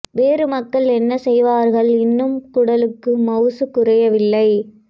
வேறு மக்கள் என்ன செய்வார்கள் இன்னும் குடலுக்கு மவுசு குறையவில்லை